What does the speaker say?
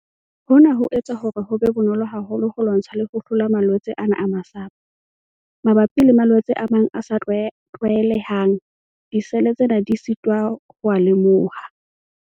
Hona ho etsa hore ho be bonolo haholo ho lwantsha le ho hlola malwetse ana a masapo. Mabapi le malwetse a mang a sa tlwaelehang, disele tsena di sitwa ho a lemoha.